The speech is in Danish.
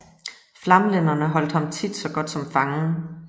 Flamlænderne holdt ham tit så godt som fangen